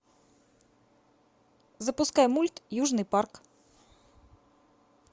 запускай мульт южный парк